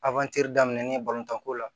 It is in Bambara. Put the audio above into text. daminɛna tan ko la